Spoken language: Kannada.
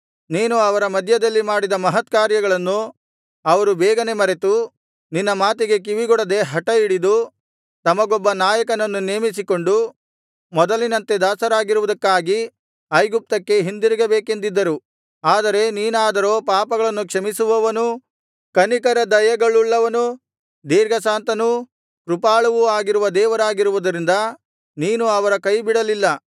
ನೀನು ಅವರ ಮಧ್ಯದಲ್ಲಿ ಮಾಡಿದ ಮಹತ್ಕಾರ್ಯಗಳನ್ನು ಅವರು ಬೇಗನೆ ಮರೆತು ನಿನ್ನ ಮಾತಿಗೆ ಕಿವಿಗೊಡದೆ ಹಠಹಿಡಿದು ತಮಗೊಬ್ಬ ನಾಯಕನನ್ನು ನೇಮಿಸಿಕೊಂಡು ಮೊದಲಿನಂತೆ ದಾಸರಾಗಿರುವುದಕ್ಕಾಗಿ ಐಗುಪ್ತಕ್ಕೆ ಹಿಂದಿರುಗಬೇಕೆಂದಿದ್ದರು ಆದರೆ ನೀನಾದರೋ ಪಾಪಗಳನ್ನು ಕ್ಷಮಿಸುವವನೂ ಕನಿಕರ ದಯೆಗಳುಳ್ಳವನೂ ದೀರ್ಘಶಾಂತನೂ ಕೃಪಾಳುವೂ ಆಗಿರುವ ದೇವರಾಗಿರುವುದರಿಂದ ನೀನು ಅವರ ಕೈಬಿಡಲಿಲ್ಲ